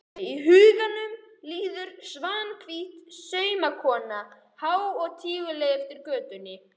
Í huganum líður Svanhvít saumakona há og tíguleg eftir götunni.